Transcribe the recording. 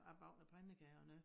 Jeg bagte noget pandekager og noget